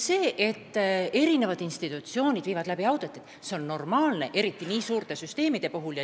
See, et eri institutsioonid viivad läbi auditeid, on normaalne, eriti nii suurte süsteemide puhul.